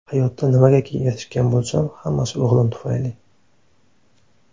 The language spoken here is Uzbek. Hayotda nimagaki erishgan bo‘lsam, hammasi o‘g‘lim tufayli.